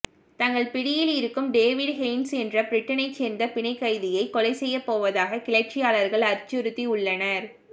தங்கள் பிடியில் இருக்கும் டேவிட் ஹெய்ன்ஸ் என்ற பிரிட்டனைச் சேர்ந்த பிணைக் கைதியை கொலை செய்யப்போவதாக கிளர்ச்சியாளர்கள் அச்சுறுத்தியுள்ளனர்